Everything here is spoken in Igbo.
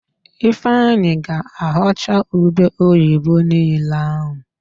Ifeanyị ga-aghọcha ube oyibo niile ahụ